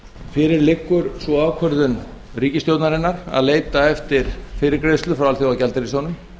fyrir liggur sú ákvörðun ríkisstjórnarinnar að leita eftir fyrirgreiðslu hjá alþjóðagjaldeyrissjóðnum